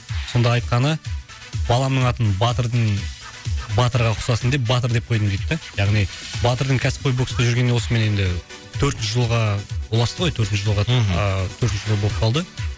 сонда айтқаны баламның атын батырдың батырға ұқсасын деп батыр деп қойдым дейді да яғни батырдың кәсіпқой бокста жүргеніне осымен енді төртінші жылға ұласты ғой төртінші жылға ыыы төртінші жыл болып қалды